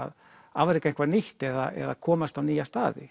afreka eitthvað nýtt eða komast á nýja staði